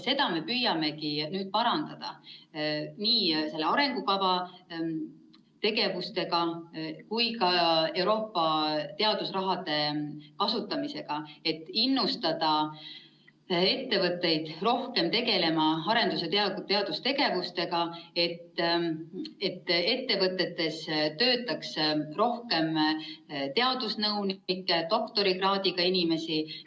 Seda me püüamegi nüüd parandada nii selle arengukava tegevustega kui ka Euroopa teadusraha kasutamisega, et innustada ettevõtteid rohkem tegelema arendus‑ ja teadustegevusega, et ettevõtetes töötaks rohkem teadusnõunikke, doktorikraadiga inimesi.